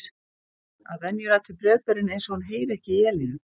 Að venju lætur bréfberinn eins og hann heyri ekki í Elínu.